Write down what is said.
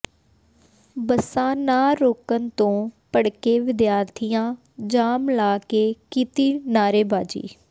ਬੱਸਾਂ ਨਾ ਰੋਕਣ ਤੋਂ ਭੜਕੇ ਵਿਦਿਆਰਥੀਆਂ ਜਾਮ ਲਾ ਕੇ ਕੀਤੀ ਨਾਅਰੇਬਾਜ਼ੀ